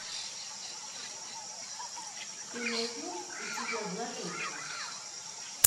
ты найдешь у себя блаженство